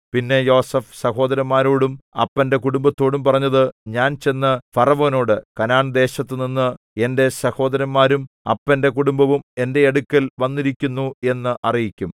പിന്നെ യോസേഫ് സഹോദരന്മാരോടും അപ്പന്റെ കുടുംബത്തോടും പറഞ്ഞത് ഞാൻ ചെന്നു ഫറവോനോട് കനാൻദേശത്തുനിന്ന് എന്റെ സഹോദരന്മാരും അപ്പന്റെ കുടുംബവും എന്റെ അടുക്കൽ വന്നിരിക്കുന്നു എന്ന് അറിയിക്കും